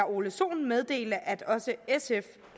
ole sohn meddele at også sf